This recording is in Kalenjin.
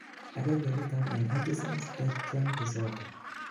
agengei niton en autism spectrum disorder